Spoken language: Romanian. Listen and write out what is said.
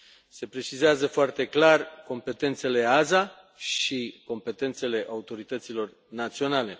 Se precizează foarte clar competențele AESA și competențele autorităților naționale.